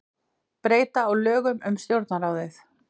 Breyta á lögum um Stjórnarráðið